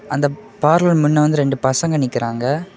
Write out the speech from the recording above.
அந்தப் பார்லர் மண்ல வந்து ரெண்டு பசங்க நிக்கிறாங்க.